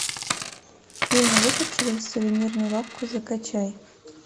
фильм выход через сувенирную лавку закачай